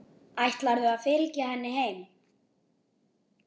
Ætlarðu að fylgja henni heim?